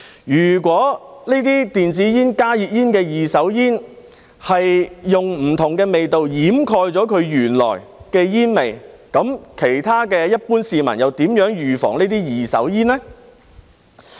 如果電子煙、加熱煙的二手煙使用了不同的味道掩蓋原來的煙味，其他一般市民又如何預防這些二手煙呢？